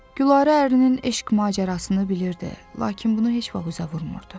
Gülarə ərinin eşq macərasını bilirdi, lakin bunu heç vaxt üzə vurmurdu.